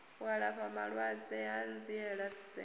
u alafha vhalwadze hanziela dzenedzo